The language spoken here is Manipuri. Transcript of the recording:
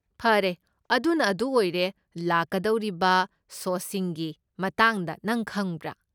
ꯐꯔꯦ ꯑꯗꯨꯅ ꯑꯗꯨ ꯑꯣꯏꯔꯦ, ꯂꯥꯛꯀꯗꯧꯔꯤꯕ ꯁꯣꯁꯤꯡꯒꯤ ꯃꯇꯥꯡꯗ ꯅꯪ ꯈꯪꯕ꯭ꯔꯥ?